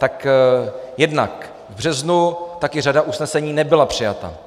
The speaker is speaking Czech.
Tak jednak v březnu taky řada usnesení nebyla přijata.